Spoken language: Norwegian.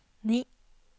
ni